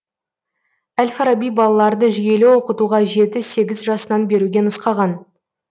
әл фараби балаларды жүйелі оқытуға жеті сегіз жасынан беруге нұсқаған